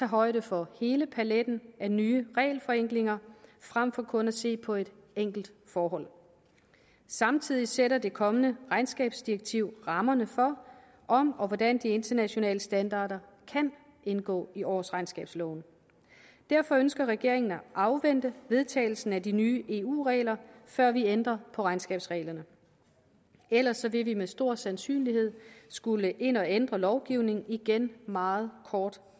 højde for hele paletten af nye regelforenklinger frem for kun at se på et enkelt forhold samtidig sætter det kommende regnskabsdirektiv rammerne for om og hvordan de internationale standarder kan indgå i årsregnskabsloven derfor ønsker regeringen at afvente vedtagelsen af de nye eu regler før vi ændrer på regnskabsreglerne ellers vil vi med stor sandsynlighed skulle ind at ændre lovgivningen igen meget kort